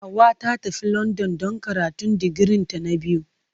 Hauwa ta tafi London don karatun digirinta na biyu.